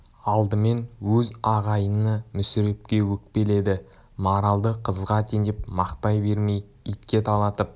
алдымен өз ағайыны мүсірепке өкпеледі маралды қызға теңеп мақтай бермей итке талатып